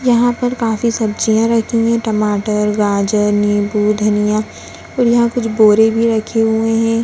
यहाँ पर कुछ सब्जियाँ रखी हुई है टमाटर गाजर निम्बू धनिया और यहाँ कुछ बोरे भी रखे हुए है।